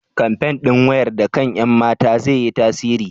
kamfen ɗin wayar da kan ƴan mata zai yi tasiri?